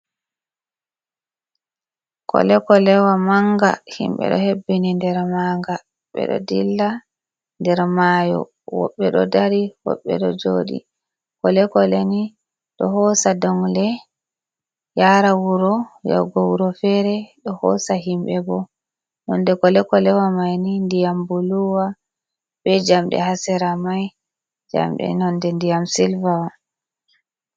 Kole-kolewa manga himɓe ɗo hebbini nder maga ɓe ɗo dilla nder mayo. Wobɓe ɗo dari wobɓe ɗo joɗi. Kole-koleni ɗo hoosa dongle yara wuro yaugo wuro fere. Ɗo hoosa himɓe bo nonde kole-kolewa mai ni ndiyam buluwa be jamɗee ha Sera mai, jamɗee nonde ndiyam Sylva'on.